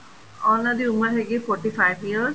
ਉਹਨਾ ਦੀ ਉਮਰ ਹੈਗੀ ਏ forty five years